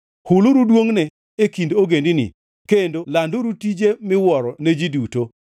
Huluru duongʼne e kind ogendini kendo landuru tijene miwuoro ne ji duto.